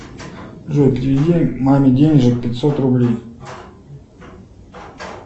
джой переведи маме денежек пятьсот рублей